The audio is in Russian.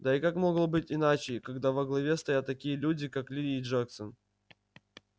да и как могло быть иначе когда во главе стоят такие люди как ли и джексон